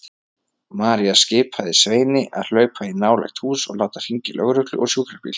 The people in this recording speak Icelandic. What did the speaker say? María skipaði Sveini að hlaupa í nálægt hús og láta hringja í lögreglu og sjúkrabíl.